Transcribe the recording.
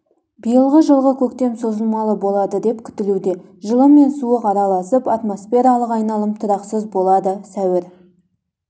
биылғы жылғы көктем созылмалы болады деп күтілуде жылы мен суық араласып атмосфералық айналым тұрақсыз болады сәуір